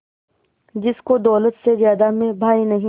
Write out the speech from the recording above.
जिसको दौलत से ज्यादा मैं भाई नहीं